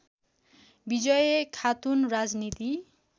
विजयी खातुन राजनीति